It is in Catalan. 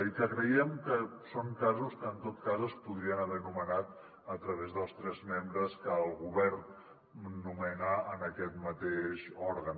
i que creiem que són casos que en tot cas es podrien haver nomenat a través dels tres membres que el govern nomena en aquest mateix òrgan